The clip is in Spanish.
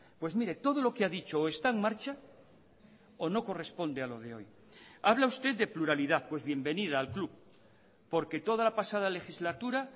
pues mire todo lo que ha dicho o está en marcha o no corresponde a lo de hoy habla usted de pluralidad pues bienvenida al club porque toda la pasada legislatura